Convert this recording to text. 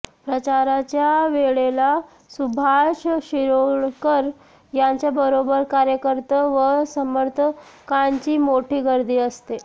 प्रचाराच्या वेळेला सुभाष शिरोडकर यांच्याबरोबर कार्यकर्ते व समर्थकांची मोठी गर्दी असते